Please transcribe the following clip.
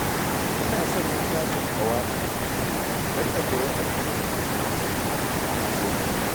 Ina son littafin ƙawa'idi don na koyi addinin musulunci a sauƙaƙe